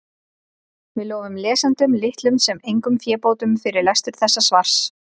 Við lofum lesendum litlum sem engum fébótum fyrir lestur þessa svars.